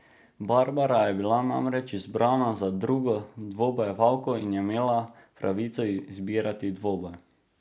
Barbara je bila namreč izbrana za drugo dvobojevalko in je imela pravico izbirati dvoboj.